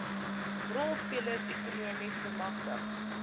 rolspelers ekonomies bemagtig